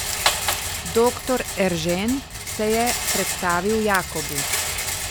Doktor Eržen, se je predstavil Jakobu.